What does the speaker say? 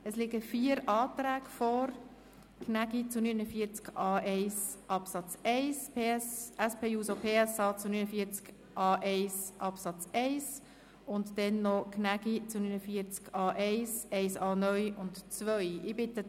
Es liegen vier Anträge vor: Gnägi, BDP, zu Artikel 49a1 Absatz 1, SPJUSO-PSA zu Artikel 49a1 Absatz 1, Gnägi, BDP, Artikel 49a1 Absatz 1a (neu) sowie ein Antrag Gnägi zu Absatz 2.